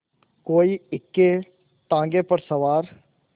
कोई इक्केताँगे पर सवार